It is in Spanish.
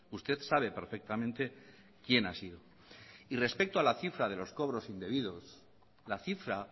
usted sabe perfectamente quién ha sido respecto a la cifra de los cobros indebidos la cifra